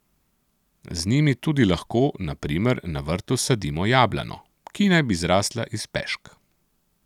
Z njimi tudi lahko, na primer, na vrtu sadimo jablano, ki naj bi zrasla iz pešk.